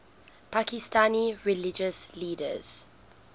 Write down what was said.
pakistani religious leaders